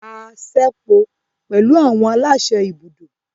A ṣepọ pẹlu awọn alaṣẹ ibùdó.